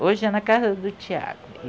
Hoje é na casa do Tiago.